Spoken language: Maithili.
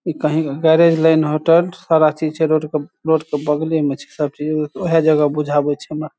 इ कही गैरेज लाइन होटल सारा चीज छै रोड के रोड के बगले में छै सब चीज ऊहे जगह बुझाबे छै हमरा।